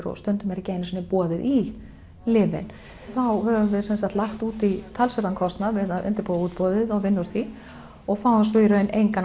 og stundum er ekki einu sinni boðið í lyfin þá höfum við lagt út í talsverðan kostnað við að undirbúa útboðið og vinna úr því og fáum svo í raun engan